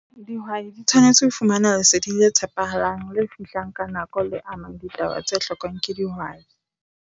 Dihwai di tshwanetse ho fumana lesedi le tshepahalang, le fihlang ka nako, le amang ditaba tse hlokwang ke dihwai.